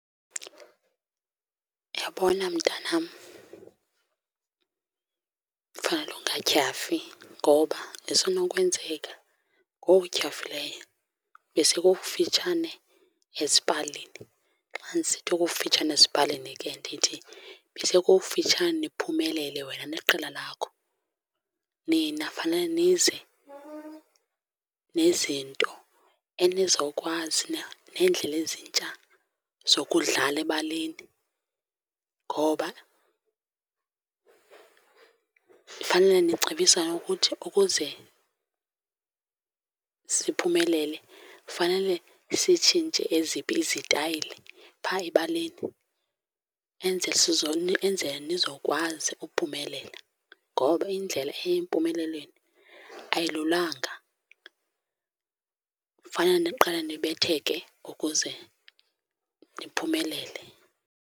Uyabona mntanam, fanele ungatyhafi ngoba isenokwenzeka ngoku utyhafileyo besekukufitshane ezipalini. Xa ndisithi okufitshane ezipalini ke ndithi besekufitshane niphumelele wena neqela lakho. Nina fanele nize nezinto enizawukwazi na neendlela ezintsha zokudlala ebaleni. Ngoba fanele nicebisane ukuthi ukuze siphumelele fanele sitshintshe eziphi izitayile phaa ebaleni, enzele nizokwazi ukuphumelela. Ngoba indlela eya empumelelweni ayilulanga, fanele niqale nibetheke ukuze niphumelele.